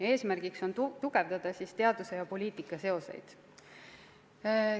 Eesmärk on tugevdada teaduse ja poliitika seoseid.